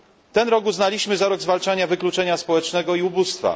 Ten rok uznaliśmy za rok zwalczania wykluczenia społecznego i ubóstwa.